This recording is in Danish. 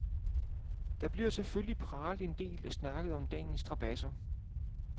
Der bliver selvfølgelig pralet en del og snakket om dagens strabadser.